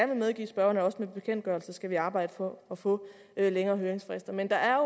vil medgive spørgeren at også med bekendtgørelser skal vi arbejde på at få længere høringsfrister men der er